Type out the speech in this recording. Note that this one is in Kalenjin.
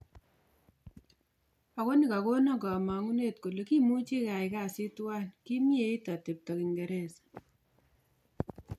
agoni kogonan kamanguneet kole kimuchi keyai kasiit tuwan kimieit ateptop kingeresa